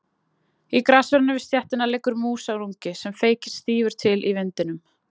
Í grassverðinum við stéttina liggur músarungi sem feykist stífur til í vindinum.